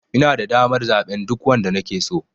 Inada damar zaɓen duk wanda nake so.